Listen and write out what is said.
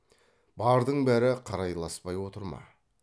бардың бәрі қарайласпай отыр ма